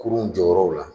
Kurun jɔyɔrɔw la